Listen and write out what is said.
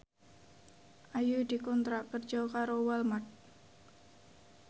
Ayu dikontrak kerja karo Walmart